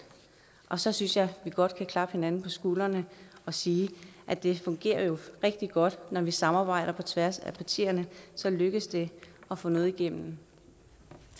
så synes jeg at vi godt kan klappe hinanden på skuldrene og sige at det jo fungerer rigtig godt når vi samarbejder på tværs af partierne så lykkes det at få noget igennem